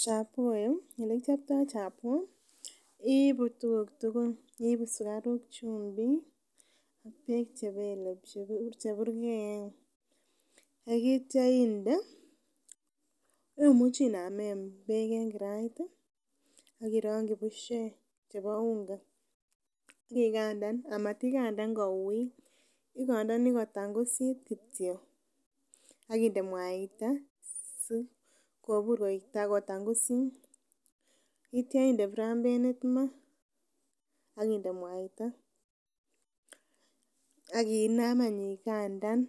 Chapoo elekichoptoo chapoo iibu tuguk tugul iibu sugaruk chumbik ak beek cheburgeen ak itya inde, imuchii inamen beek en kirait ih ak irongyi bushek chebo unga ak ikandan, amatikandan kouit igondonii kotangusit kityo akinde mwaita sikobur koik takotangusit ak itya inde prambenit maa ak inde mwaita ak inam any igandan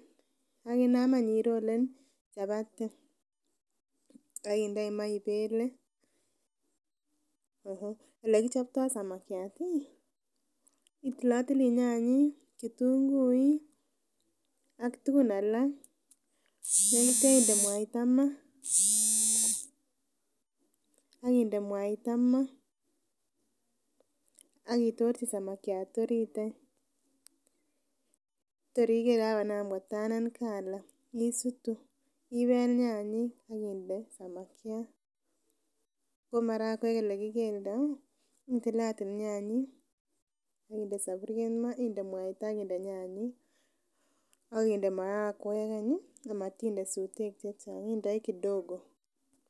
ak inam any irolen chapati ak indoi maa ibele. Olekichoptoo samakiat ih itilotili nyanyik, kitunguik ak tugun alak yon keinde mwaita maa ak inde mwaita maa ak itorchi samakiat orit any tor iker kakonam ko tanen colour isutu ibel nyanyik ak inde samakiat ko marakwek elekikeldoo itilatil nyanyik ak inde soburiet maa inde mwaita ak inde nyanyik ak inde marakwek any ih amotinde sutek chechang indoi kidogo